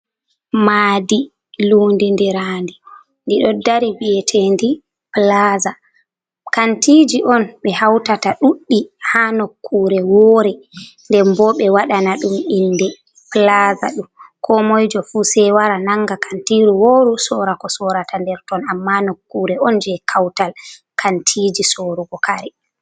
Maadi lundindiraadi ɗiɗo dari mbiyeteeɗi plaza. Kantiji on ɓe hautata ɗuɗdi haa nokkure woore, nden bo ɓe waɗana ɗum inde plaza ɗum komoi jo fu se wara nanga kantiiru wooru, sora ko sorata nder ton. Amma nokkure on jei kautal kantiiji sorugo kare.